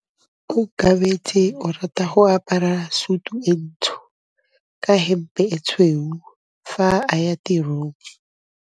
Onkabetse o rata go apara sutu e ntsho ka hempe e tshweu fa a ya tirong.